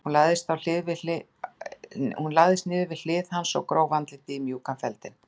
Hún lagðist niður við hlið hans og gróf andlitið í mjúkan feldinn.